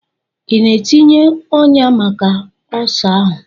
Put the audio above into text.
Ị na-etinye ọnyà maka ọsa ahụ?